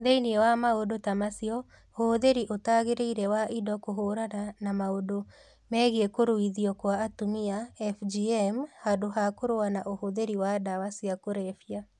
Thĩinĩ wa maũndũ ta macio, ũhũthĩri ũtagĩrĩire wa indo kũhũrana na maũndũ megiĩ Kũruithio kwa Atumia (FGM) handũ ha kũrũa na ũhũthĩri wa ndawa cia kũrebia.